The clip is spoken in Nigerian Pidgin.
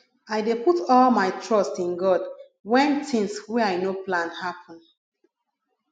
i dey put all my trust in god wen tins wey i no plan happen